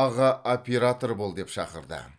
аға оператор бол деп шақырды